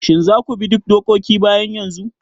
Shin za ku bi duk dokoki bayan yanzu?